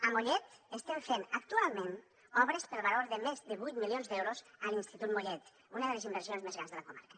a mollet estem fent actualment obres per valor de més de vuit milions d’euros a l’institut mollet una de les inversions més grans de la comarca